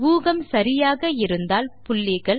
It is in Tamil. ஊகம் சரியாக இருந்தால் புள்ளிகள்